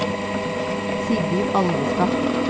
Sigurd Alvestad